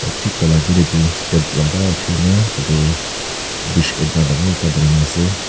Ohh thik taila agae dae etu step lamba uthikena tatae bridge ekta dangor ekta banaina ase.